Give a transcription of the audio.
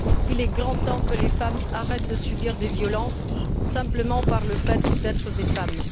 Il est grand temps que les femmes arrêtent de subir des violences, simplement par le fait d'être des femmes.